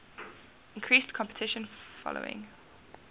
increased competition following